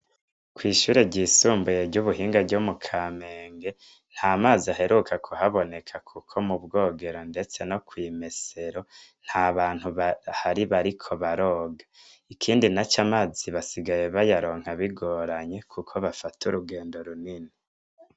Kw'ishure ryisumbuye ry'Ubuhinga ryo mu Kamenge nta mazi aheruka kuhaboneka kuko mu bwogera ndetse no kw'imesero nta bantu bahari bariko baroga . Ikindi naco amazi basigaye basigaye bayaronka bigoranye kuko bafata urugendo runini.